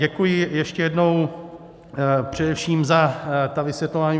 Děkuji ještě jednou především za ta vysvětlování.